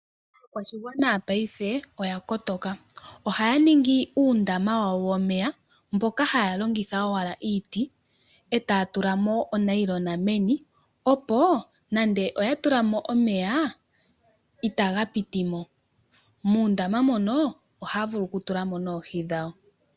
Aakwashigwana paife oya kotoka. Ohaya ningi uundama wawo womeya mboka haya longitha owala iiti e taya tula mo onayilona meni, opo nande oya tula mo omeya, itaga piti mo. Muundama mono ohaya vulu okutula mo oohi dhawo.